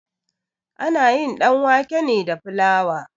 Ana yin ɗanwake ne da filawa.